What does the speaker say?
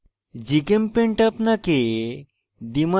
gchempaint আপনাকে